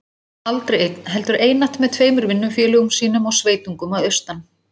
Aldrei einn, heldur einatt með tveimur vinnufélögum sínum og sveitungum að austan.